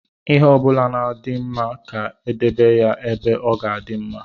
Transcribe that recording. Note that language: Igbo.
Ihe ọbụla na-adị mma ka e edebe ya ebe ọ ga-adị mma.